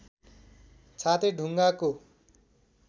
छाते ढुङ्गाको